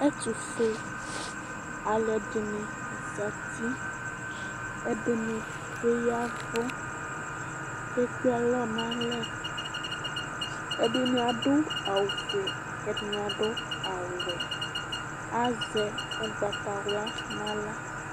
Ɛtʋfue alʋɛdini zati ɛdini bi ya ɛvʋ kʋ ɛkpe alɔ nʋ alɛ ɛdini adʋ awʋfue kʋ ɛdini adʋ awʋwɛ azɛ ʋgnatawla nʋ aɣla